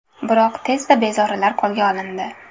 Biroq, tezda bezorilar qo‘lga olindi.